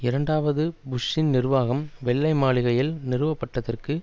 இரண்டாவது புஷ்ஷின் நிர்வாகம் வெள்ளை மாளிகையில் நிறுவ படுவதற்கு